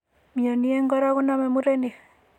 Mioni en kora koname murenik.